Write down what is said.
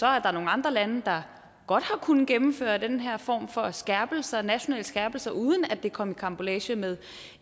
er nogle andre lande der godt har kunnet gennemføre den her form for skærpelser nationale skærpelser uden at det kom i karambolage med